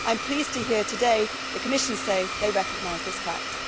I am pleased to hear today the Commission say they recognise this fact.